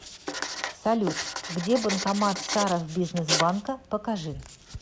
салют где банкомат саровбизнесбанка покажи